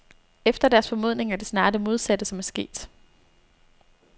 Efter deres formodning er det snarere det modsatte som er sket.